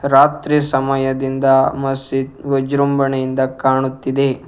ರಾತ್ರಿ ಸಮಯದಿಂದ ಮಸೀದ್ ವಿಜೃಂಭಣೆಯಿಂದ ಕಾಣುತ್ತಿದೆ.